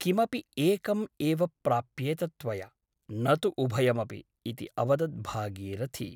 किमपि एकम् एव प्राप्येत त्वया , न तु उभयमपि इति अवदत् भागीरथी ।